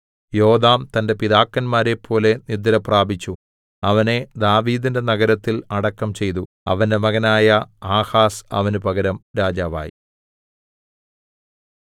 യോഥാം തന്റെ പിതാക്കന്മാരെപ്പോലെ നിദ്രപ്രാപിച്ചു അവനെ ദാവീദിന്റെ നഗരത്തിൽ അടക്കം ചെയ്തു അവന്റെ മകനായ ആഹാസ് അവന് പകരം രാജാവായി